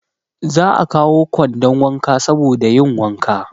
Za a kawo kwandon wanka saboda yin wanka.